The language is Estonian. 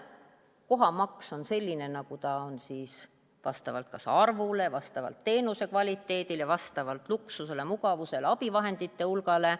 Kohamaks on selline, nagu ta on siis vastavalt arvule, teenuse kvaliteedile, vastavalt luksusele, mugavusele, abivahendite hulgale.